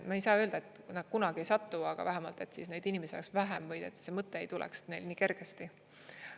Me ei saa öelda, et nad kunagi ei satu, aga vähemalt et neid inimesi oleks vähem või et see mõte ei tuleks neil nii kergesti.